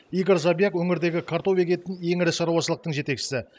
игорь жабяк өңірдегі картоп егетін ең ірі шаруашылықтың жетекшісі